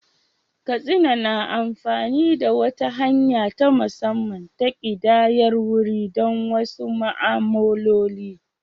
Katsina na amfani da wata hanya ta musamman ta ƙidayar wuri don wasu ma'amaloli.